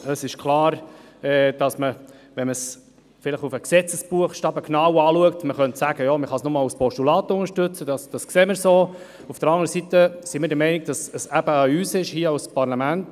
Es ist klar, dass das Anliegen bei genauer Betrachtung des Gesetzesartikels lediglich als Postulat